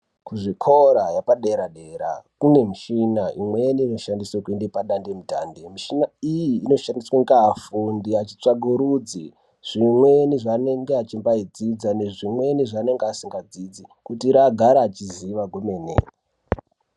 Kuzvikora yepadera dera kunemichina imweni inoshandiswe kuende padandemtande. Michina iyi inoshandiswe ngeafundi echitsvagaurudza zvinweni zvanenge echimbayi dzidza ne zvimweni zvanenge asinga dzidzi kuitra agare echiziva kwemene.